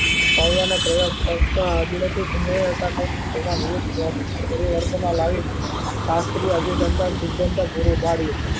પરવા ના પ્રયોગ કરતા તેમાં વિવધ પરિવર્તન ઓં લાવી શાસ્ત્રી સીધાન્ત્વ પૂરું પાડ્યું